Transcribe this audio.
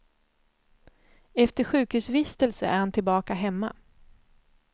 Efter sjukhusvistelse är han tillbaka hemma.